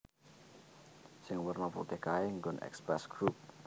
Sing werna putih kae nggon Express Group